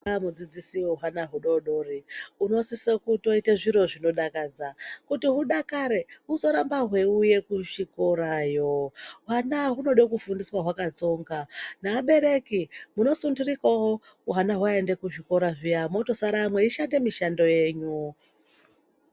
Mudzidzisi we hwana hudodori unosise kutoite zviro zvinodakadza kuti hudakare huzorambe hweiuye kuchikorayo hwana hunode kufundiswa hwakatsonga naabereki munosunturikawo bwana hwaende kuzvikora zviya mwotosara mweishande mishando yenyu.